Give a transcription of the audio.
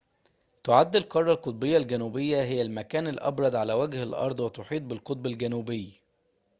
تعد القارة القطبية الجنوبية هي المكان الأبرد على وجه الأرض وتحيط بالقطب الجنوبي